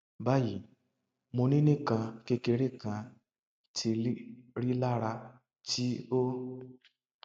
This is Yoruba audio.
bayi mo ni nikan kekere kan ti rilara ti o